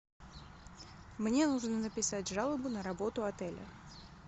мне нужно написать жалобу на работу отеля